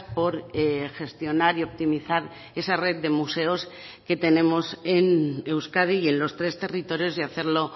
por gestionar y optimizar esa red de museos que tenemos en euskadi y en los tres territorios y hacerlo